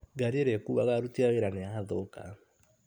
Ngari ĩrĩa ĩkuaga aruti a wĩra nĩ yathũka.